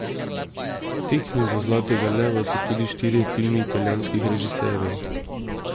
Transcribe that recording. V tekmi za zlatega leva so tudi štirje filmi italijanskih režiserjev.